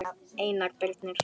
Einar Birnir.